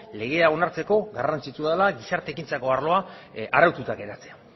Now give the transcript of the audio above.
legea onartzeko garrantzitsua dela gizarte ekintzako arloa araututa geratzea